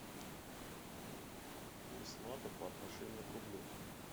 курс лата по отношению к рублю